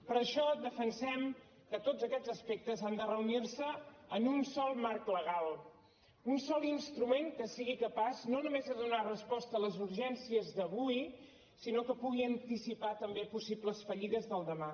per això defensem que tots aquests aspectes han de reunirse en un sol marc legal un sol instrument que sigui capaç no només de donar resposta a les urgències d’avui sinó que pugui anticipar també possibles fallides del demà